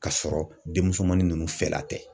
K'a sɔrɔ denmusomannin ninnu fɛla tɛ.